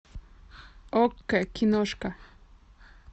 окко киношка